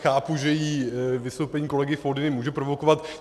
Chápu, že ji vystoupení kolegy Foldyny může provokovat.